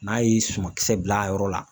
N'a ye sumankisɛ bila a yɔrɔ la